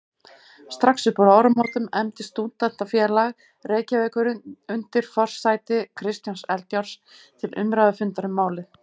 Strax uppúr áramótum efndi Stúdentafélag Reykjavíkur undir forsæti Kristjáns Eldjárns til umræðufundar um málið.